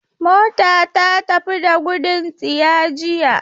Mota ta fita da gudun tsiya jiya.